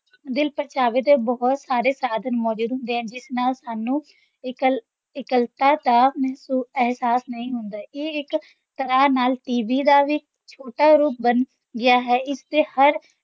ਦਿਲਪ੍ਰਚਾਵੇ ਦੇ ਬਹੁਤ ਸਾਰੇ ਸਾਧਨ ਮੌਜੂਦ ਹੁੰਦੇ ਹਨ ਜਿਸ ਨਾਲ ਸਾਨੂੰ ਇਕੱਲ~ ਇਕੱਲਤਾ ਦਾ ਮਹਿਸੂ~ ਅਹਿਸਾਸ ਨਹੀਂ ਹੁੰਦਾ, ਇਹ ਇੱਕ ਤਰ੍ਹਾਂ ਨਾਲ TV ਦਾ ਵੀ ਛੋਟਾ ਜਿਹਾ ਰੂਪ ਬਣ ਗਿਆ ਹੈ, ਇਸ ‘ਤੇ ਹਰ